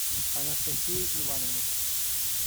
анастасией ивановной